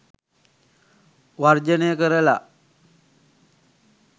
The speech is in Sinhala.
වර්ජනය කරලා